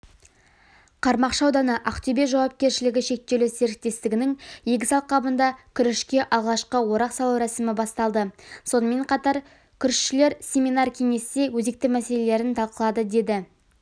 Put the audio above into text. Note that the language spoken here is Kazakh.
қармақшы ауданы ақтөбе жауапкершілігі шектеулі серіктестігініңегіс алқабында күрішке алғашқы орақ салу рәсімі басталды сонымен қатар күрішшілер семинар-кеңесте өзекті мәселелерін талқылады деді